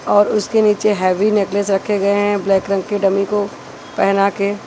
और उसके निचे हेवी नेकलेस रखे गए हैं ब्लैक रंग की डमी को पहेना के--